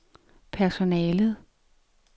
personalet